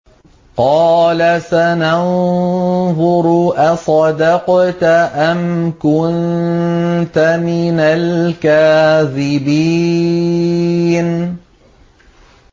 ۞ قَالَ سَنَنظُرُ أَصَدَقْتَ أَمْ كُنتَ مِنَ الْكَاذِبِينَ